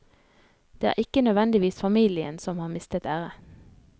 Det er ikke nødvendigvis familien som har mistet ære.